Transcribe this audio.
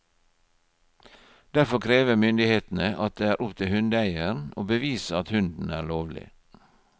Derfor krever myndighetene at det er opp til hundeeieren å bevise at hunden er lovlig.